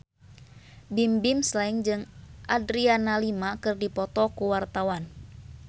Bimbim Slank jeung Adriana Lima keur dipoto ku wartawan